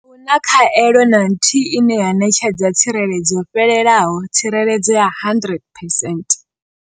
Na khaelo na nthihi ine ya ṋetshedza tsireledzo yo fhelelaho tsireledzo ya 100 percent.